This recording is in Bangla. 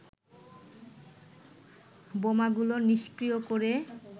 বোমাগুলো নিষ্ক্রীয় করে